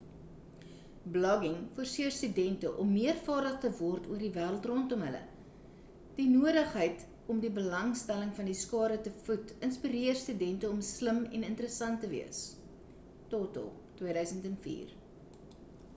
blogging forseer student om meer vaardig te word oor die wêreld rondom hulle. die noodigheid om die belangstelling van die skare te voed inspirer studente om slim en interressant te wees toto 2004